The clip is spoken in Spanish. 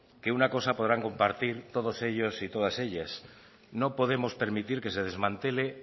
que una cosa podrá compartir todos ellos y todas ellas no podemos permitir que se desmantele